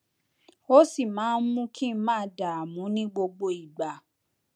ó sì máa ń mú kí n máa dààmú ní gbogbo ìgbà